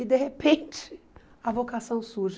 E, de repente, a vocação surge.